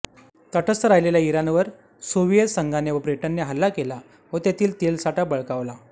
तटस्थ राहिलेल्या इराणवर सोव्हियेत संघाने व ब्रिटनने हल्ला केला व तेथील तेलसाठा बळकावला